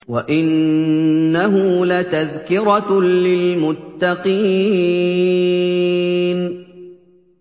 وَإِنَّهُ لَتَذْكِرَةٌ لِّلْمُتَّقِينَ